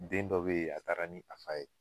Den dɔ be yen, a taara ni nafa ye